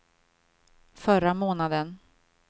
förra månaden